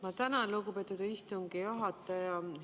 Ma tänan, lugupeetud istungi juhataja!